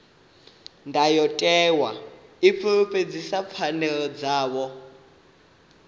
ndayotewa i fulufhedzisa pfanelo dzavho